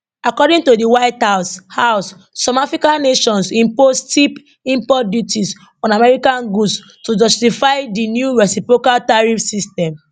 according to di white house house some african nations impose steep import duties on american goods to justify di new reciprocal tariff system